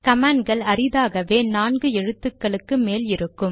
கமாண்ட்கள் அறிதாகவே நான்கு எழுத்துக்களுக்கு மேல் இருக்கும்